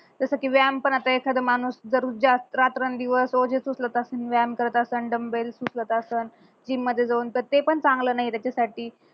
जस कि व्यायाम पण आता एखादा माणूस रात्रंदिवस ओझेच उचलत व्यायाम करत असणं dumbbells उचलत असणं gym मध्ये जाऊन तर ते पण चांगल नाय त्याच्यासाठी